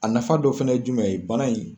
A nafa dɔ fana ye jumɛn ye bana in